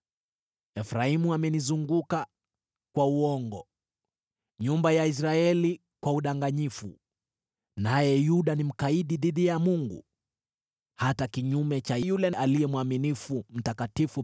Efraimu amenizunguka kwa uongo, nyumba ya Israeli kwa udanganyifu. Naye Yuda ni mkaidi dhidi ya Mungu, hata kinyume cha yule mwaminifu Aliye Mtakatifu.